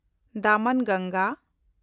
ᱫᱚᱢᱚᱱᱜᱟᱝᱜᱟ